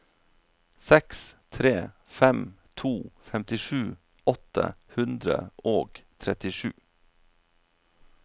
seks tre fem to femtisju åtte hundre og trettisju